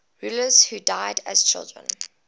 rulers who died as children